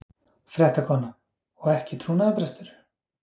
Fréttakona: Og ekki trúnaðarbrestur?